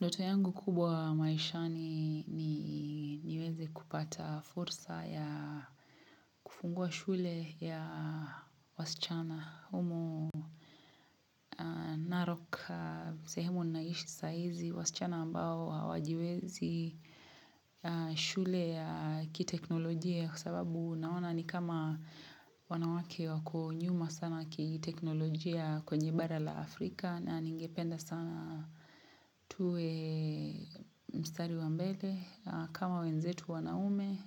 Ndoto yangu kubwa maishani niweze kupata fursa ya kufungua shule ya wasichana. Humo Narok, sehemu naishi sahizi, wasichana ambao hawajiwezi shule ya kiteknolojia kwa sababu naona ni kama wanawake wako nyuma sana kiteknolojia kwenye bara la Afrika na ningependa sana tuwe mstari wa mbele kama wenzetu wanaume